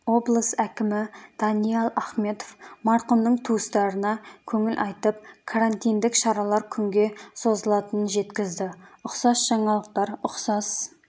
облыс әкімі даниал ахметов марқұмның туыстарына көңіл айтып карантиндік шаралар күнге созылатынын жеткізді ұқсас жаңалықтар ұқсас